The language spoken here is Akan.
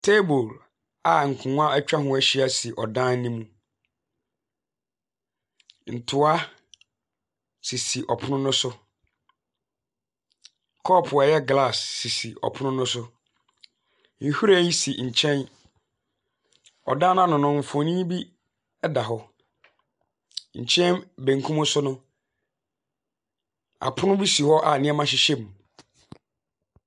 Table a nkonnwa atwa ho ahyia so ɔdan no mu. Ntoa sisi ɔpono no sokɔpo a ɛyɛ glass sisi ɔpono no so. Nhwiren si nkyɛn. Ɔdan no ano no, mfonin bi da hɔ. Nkyɛn benkum so no, apono bi si hɔ a nnema hyehyɛ mu.